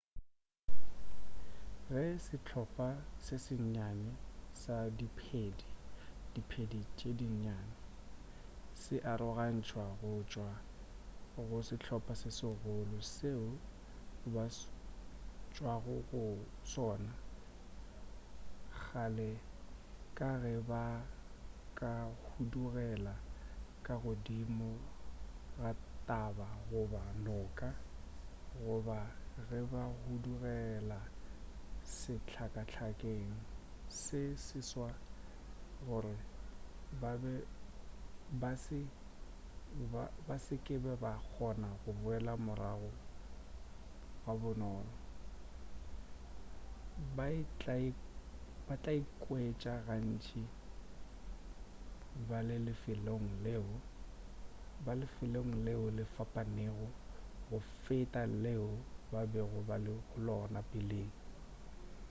ge sehlopa se sennyane sa diphedi diphedi tše dinnyane se arogantšwa go tšwa go sehlopa se segolo seo ba tšwago go sona bjale ka ge ba ka hudugela ka godimo ga taba goba noka goba ge ba hudugela sehlakahlakeng se seswa gore ba se ke ba kgona go boela morago ga bonolo ba tlaikwetša gantši ba le lefelong leo le fapanego go feta leo ba bego ba le go lona peleng